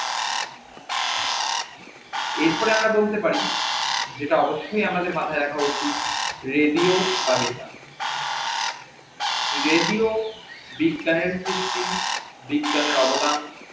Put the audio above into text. এরপরে আমরা বলতে পারি যেটা অবশ্যই আমাদের মাথাই রাখা উচিত radio তালিকা radio বিজ্ঞানের সৃষ্টি বিজ্ঞানের অবদান